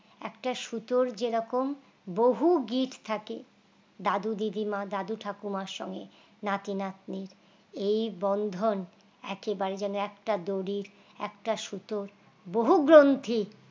একটা সুতর যেরকম বহু গিফট থাকে দাদু দিদিমা দাদু ঠাকুমা সঙ্গে নাতি নাতনির এই বন্ধন একেবারে যেমন একটা দড়ির একটা সুতোর বহু গ্রন্থির